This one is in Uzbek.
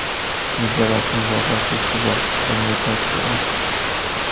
Bizda rasmiy bozor kursi bor, konvertatsiya ochiq.